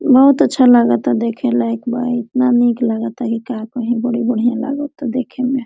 बहुत अच्छा लागा ता देखे लायक बा इतना निक लागा ता की का कही बड़ी बढ़िया लागा तादेखे में।